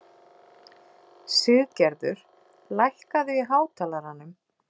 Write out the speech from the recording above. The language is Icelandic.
Siggerður, lækkaðu í hátalaranum.